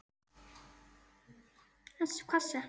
En hvers vegna ekki?